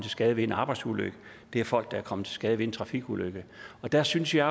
skade ved en arbejdsulykke det er folk der er kommet til skade ved trafikulykker og der synes jeg